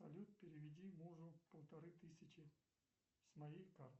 салют переведи мужу полторы тысячи с моей карты